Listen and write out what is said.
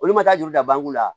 Olu ma taa juru ta banku la